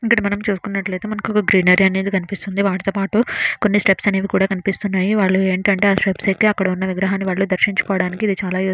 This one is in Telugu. ఇక్కడ మనం చూసుకున్నట్లు ఐతే మనకు గ్రీనరీ అనేది కనిపిస్తుంది. వాటితో పాటు కొన్నిస్టెప్స్ అనేది కూడా కనిపిస్తున్నాయి. వాళ్ళు ఏంటంటే ఆ స్టెప్స్ ఏకి అక్కడా ఉన్న విగ్రహాని దర్శించుకోవడానికి ఇది చాలా ఉస్ --